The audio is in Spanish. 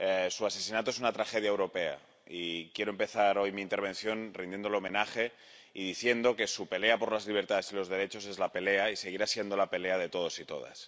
Su asesinato es una tragedia europea, y quiero empezar hoy mi intervención rindiéndole homenaje y diciendo que su pelea por las libertades y los derechos es la pelea, y seguirá siendo la pelea, de todos y todas.